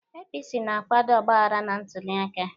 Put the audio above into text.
APC na-akwado ọgbaghara na ntuliaka